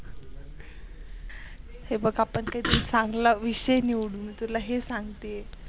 हे बग ते आपन चांगला विषय निवडू मी तुला हे सांगते आहे